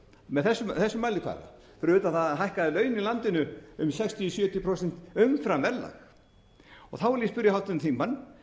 með þessum mælikvarða fyrir utan það að hann hækkaði laun í landinu um sextíu til sjötíu prósent umfram verðlag vil ég spyrja háttvirtan þingmann